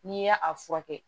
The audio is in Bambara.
N'i y'a a furakɛ